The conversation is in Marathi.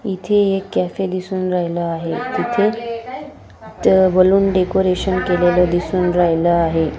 इथे एक कॅफे दिसून राहिल आहे तिथे च बलून डेकोरेशन केलेल दिसून राहील आहे.